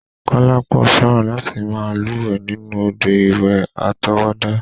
Kọ́lápọ̀ fẹ́ràn láti máa lúwẹ̀ẹ́ nínú òdò ìwẹ̀ àtọwọ́dá.